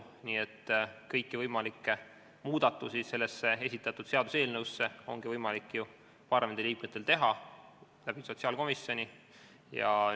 Parlamendiliikmetel on võimalik teha seaduseelnõu kohta sotsiaalkomisjoni kaudu muudatusettepanekuid.